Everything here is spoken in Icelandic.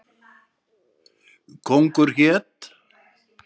Kóngur hét.